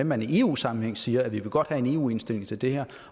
man i eu sammenhæng siger at man godt vil have en eu indstilling til det her